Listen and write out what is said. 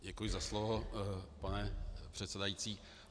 Děkuji za slovo, pane předsedající.